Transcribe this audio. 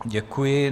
Děkuji.